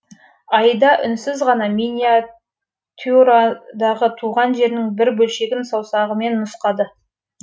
айда үнсіз ғана миниатюрадағы туған жерінің бір бөлшегін саусағымен нұсқады